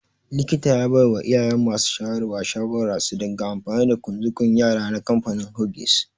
Likita ya baiwa iyayen masu shayarwa shawarar su dinga amfani da ƙunzugun yara na kamfanin Huggies.